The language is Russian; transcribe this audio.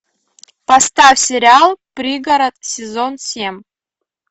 поставь сериал пригород сезон семь